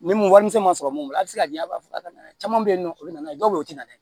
Ni mun wari misɛn ma sɔrɔ mun a bɛ se ka diɲɛ b'a fɔ ka na caman bɛ yen nɔ o bɛ na n'a ye dɔw bɛ yen o tɛ na